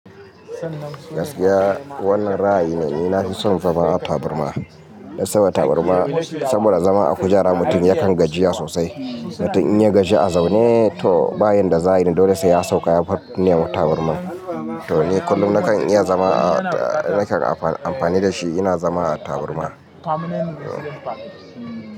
Gaskiya wannan ra'ayi ne, ni na fi son zama a taburma. Saboda taburma saboda zama a kujera mutum yakan gajiya sosai. Mutum in ya gaji a zaune to bayan da za'i dole sai ya sauka yane ma taburma. To ni kullum nakan iya zama a, nakan amfani da shi ina zama a taburma.